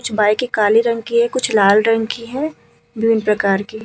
कुछ बाइकें कालें रंग की हैं। कुछ लाल रंग की हैं। विभिन्न प्रकार की --